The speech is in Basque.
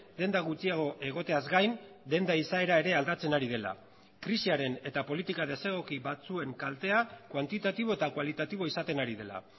denda gutxiago egoteaz gain denda izaera ere aldatzen ari dela krisiaren eta politika desegoki batzuen kaltea kuantitatibo eta kualitatibo izaten ari dela